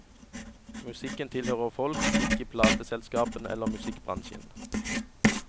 Musikken tilhører folk, ikke plateselskapene eller musikkbransjen.